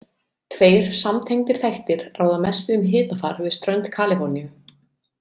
Tveir samtengdir þættir ráða mestu um hitafar við strönd Kaliforníu.